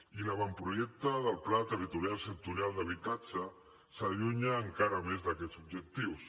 i l’avantprojecte del pla territorial sectorial d’habitatge s’allunya encara més d’aquests objectius